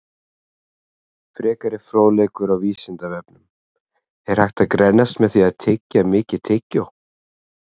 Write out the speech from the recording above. Frekari fróðleikur á Vísindavefnum: Er hægt að grennast með því að tyggja mikið tyggjó?